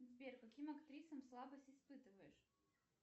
сбер к каким актрисам слабость испытываешь